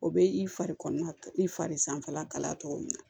O bɛ i fari kɔnɔna i fari sanfɛla kalaya cogo min na